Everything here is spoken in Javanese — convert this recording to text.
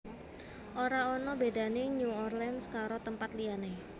Ora ono bedane New Orleans karo tempat liyane